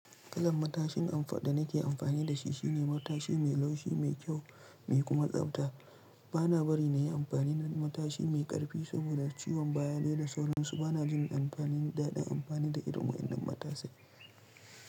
Kalan matashin amfa da nake amfani da shi shine matashi mai laushi, mai kyau, mai kuma tsabta. Bana bari na yi amfani da matashi mai ƙarfi saboda ciwon baya dai da sauransu. Bana jin amfani daɗin amfani da irin waɗannan matasai.